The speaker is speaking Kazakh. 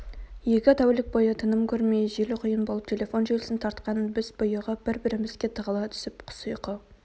екі тәулік бойы тыным көрмей жел-құйын болып телефон желісін тартқан біз бұйығып бір-бірімізге тығыла түсіп құс ұйқы